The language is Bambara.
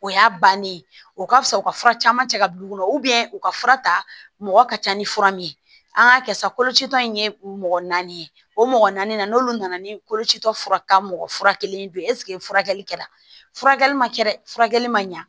O y'a bannen o ka fisa u ka fura caman cɛ ka d'u ma u ka fura ta mɔgɔ ka ca ni fura min ye an k'a kɛ sa kolocitɔ in ye mɔgɔ naani ye o mɔgɔ naani na n'olu nana ni koloci fura mɔgɔ furakɛli don ye furakɛli kɛra furakɛli ma kɛ dɛ furakɛli ma ɲɛ